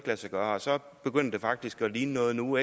lade sig gøre og så begynder det faktisk at ligne noget nu